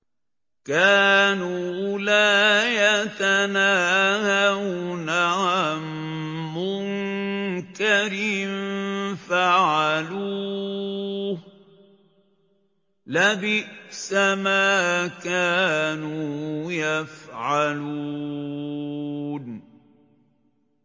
كَانُوا لَا يَتَنَاهَوْنَ عَن مُّنكَرٍ فَعَلُوهُ ۚ لَبِئْسَ مَا كَانُوا يَفْعَلُونَ